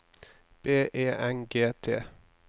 B E N G T